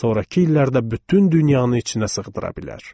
Sonrakı illərdə bütün dünyanı içinə sığdıra bilər.